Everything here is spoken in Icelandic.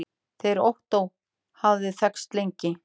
Þeir Ottó hafa þekkst lengi.